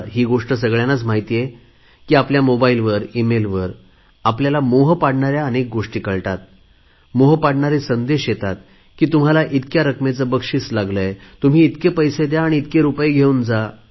ही गोष्ट सगळ्यांना माहित आहे की आपल्या मोबाईलवर ईमेलवर आपल्याला मोह पाडणाऱ्या गोष्टी कळतात तर मोह पाडणारे संदेश येतात की तुम्हाला इतक्या रकमेचे बक्षीस लागले आहे तुम्ही इतके पैसे द्या आणि इतके रुपये घेऊन जा